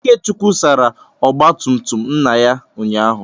Ikechukwu sara ọgba tum tum nna ya ụnyahụ.